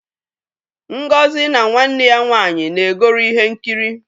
Ngozi na nwanne ya nwaanyị na-egori ihe nkiri.